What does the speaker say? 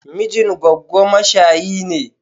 Mijin goggo mashayi ne.